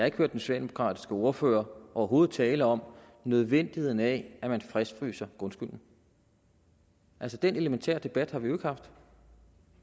ikke hørt den socialdemokratiske ordfører overhovedet tale om nødvendigheden af at man fastfryser grundskylden altså den elementære debat har vi jo ikke haft